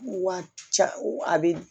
Wa ca a bɛ